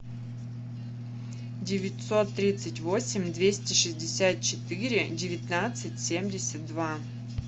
девятьсот тридцать восемь двести шестьдесят четыре девятнадцать семьдесят два